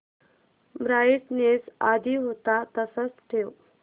brightness आधी होता तसाच ठेव